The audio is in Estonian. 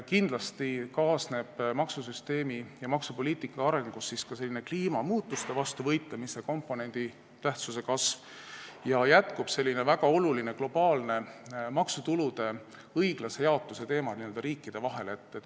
Kindlasti kasvab maksusüsteemi ja maksupoliitika arengus kliimamuutuste vastu võitlemise komponendi tähtsus ja globaalselt jätkub väga oluline maksutulude õiglase jaotuse teema n-ö riikide vahel.